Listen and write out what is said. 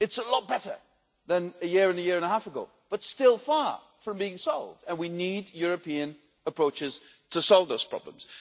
It is a lot better than a year or a year and a half ago, but still far from being solved, and we need European approaches to solve those problems.